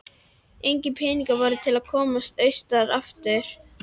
Engir peningar voru til að komast austur aftur.